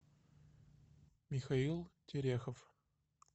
михаил терехов